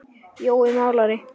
Jói málari